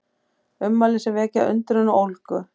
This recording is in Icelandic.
Ummæli sem vekja undrun og ólgu